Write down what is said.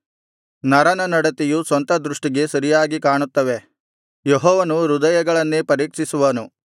ನರನ ನಡತೆಯು ಸ್ವಂತ ದೃಷ್ಟಿಗೆ ಸರಿಯಾಗಿ ಕಾಣುತ್ತವೆ ಯೆಹೋವನು ಹೃದಯಗಳನ್ನೇ ಪರೀಕ್ಷಿಸುವನು